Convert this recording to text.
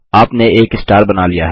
आपने एक स्टार बना लिया है